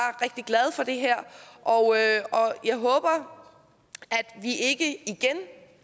rigtig glad for det her og jeg håber at vi ikke igen